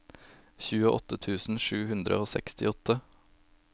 tjueåtte tusen sju hundre og sekstiåtte